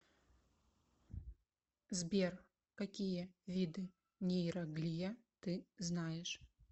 сбер какие виды нейроглия ты знаешь